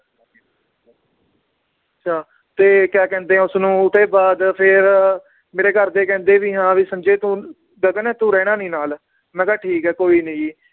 ਤੇ ਕਯਾ ਕਹਿੰਦੇ ਏ ਉਸਨੂੰ ਉਹਦੇ ਬਾਦ ਫਿਰ ਮੇਰੇ ਘਰਦੇ ਕਹਿੰਦੇ ਵੀ ਹਾਂ ਵੀ ਸੰਜੇ ਤੂੰ ਗਗਨ ਤੂੰ ਰਹਿਣਾ ਨੀ ਨਾਲ ਮੈ ਕਿਆ ਠੀਕ ਏ ਕੋਈ ਨੀ ਜੀ